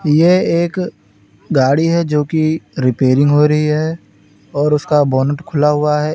यह एक गाड़ी है जो कि रिपेयरिंग हो रही है और उसका बोनट खुला हुआ है।